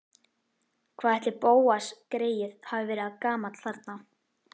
Hvað ætli Bóas greyið hafi verið gamall þarna?